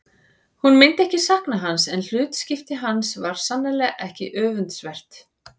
Hún myndi ekki sakna hans en hlutskipti hans var sannarlega ekki öfundsvert.